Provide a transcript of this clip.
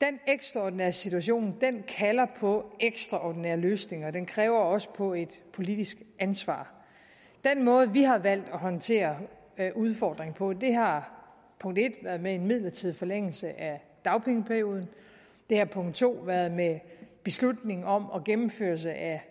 den ekstraordinære situation kalder på ekstraordinære løsninger og den kalder også på et politisk ansvar den måde vi har valgt at håndtere udfordringen på har punkt en været med en midlertidig forlængelse af dagpengeperioden det har punkt to været beslutningen om og gennemførelsen af